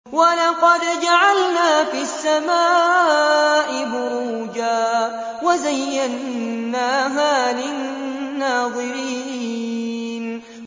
وَلَقَدْ جَعَلْنَا فِي السَّمَاءِ بُرُوجًا وَزَيَّنَّاهَا لِلنَّاظِرِينَ